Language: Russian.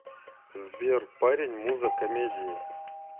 сбер парень муза комедии